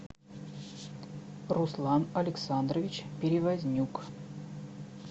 руслан александрович перевознюк